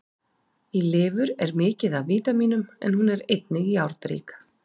Í lifur er mikið af vítamínum en hún er einnig járnrík.